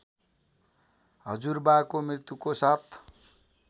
हजुरबाको मृत्युको सात